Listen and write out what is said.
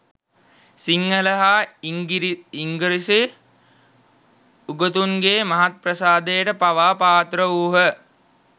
සිංහල හා ඉංගී්‍රසි උගතුන්ගේ මහත් ප්‍රසාදයට පවා පාත්‍රවූහ.